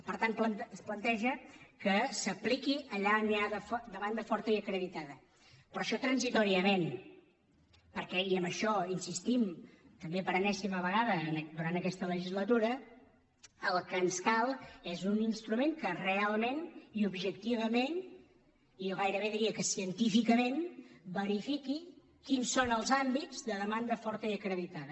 per tant es planteja que s’apliqui allà on hi ha demanda forta i acreditada però això transitòriament perquè i en això insistim també per enèsima vegada durant aquesta legislatura el que ens cal és un instrument que realment i objectivament i jo gairebé diria que científicament verifiqui quins són els àmbits de demanda forta i acreditada